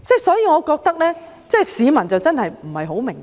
所以，我覺得市民真的不太明白。